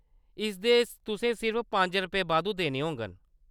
इसदे तुसें सिर्फ पंज रपेऽ बाद्धू देने होङन।